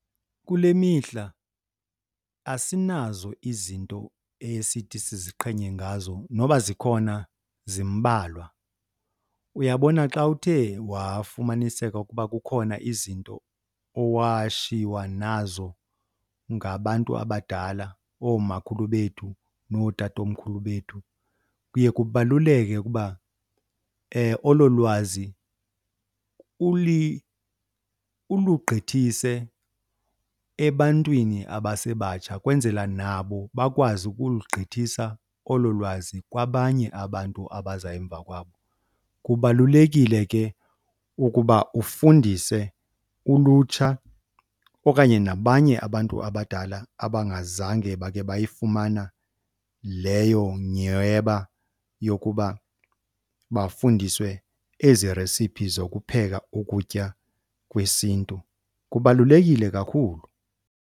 Kule mihla asinazo izinto esithi siziqhenye ngazo, noba zikhona zimbalwa. Uyabona xa uthe wafumaniseka ukuba kukhona izinto owashiywa nazo ngabantu abadala, oomakhulu bethu nootatomkhulu bethu, kuye kubaluleke ukuba olo lwazi ulugqithise ebantwini abasebatsha kwenzela nabo bakwazi ukulugqithisa olo lwazi kwabanye abantu abaza emva kwabo. Kubalulekile ke ukuba ufundise ulutsha okanye nabanye abantu abadala abangazange bakhe bayifumana leyo nyhweba yokuba bafundiswe ezi resiphi zokupheka ukutya kwesiNtu, kubalulekile kakhulu.